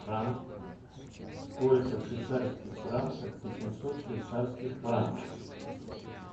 сколько в швейцарских франках восемьсот швейцарских франков